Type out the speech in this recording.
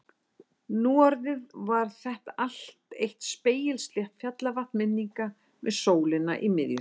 Nú orðið var þetta allt eitt spegilslétt fjallavatn minninga með sólina í miðju sér.